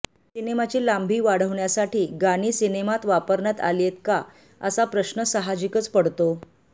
सिनेमाची लांबी वाढवण्यासाठी गाणी सिनेमात वापरण्यात आलीये का असा प्रश्न साहजिकचं पडतो